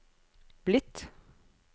blitt